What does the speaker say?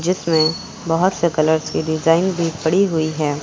जिसमे बहौत से कलर्स डिजाइन भी पड़ी हुई है।